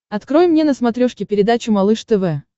открой мне на смотрешке передачу малыш тв